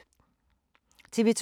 TV 2